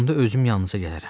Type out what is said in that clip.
Onda özüm yanınıza gələrəm.